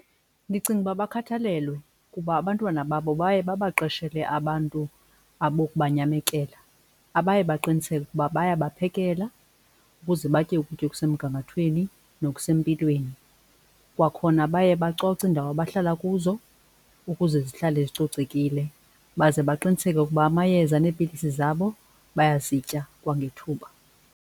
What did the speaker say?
Ndicinga ukuba bakhathalelwe kuba abantwana babo baye babaqeshele abantu abokubanyamekela abaye baqiniseke ukuba bayabaphekela ukuze batye ukutya okusemgangathweni nokusempilweni. Kwakhona baye bacoce iindawo abahlala kuzo ukuze zihlale zicocekile, baze baqiniseke ukuba amayeza neepilisi zabo bayazitya kwangethuba.